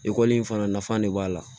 Ekɔli in fana nafa de b'a la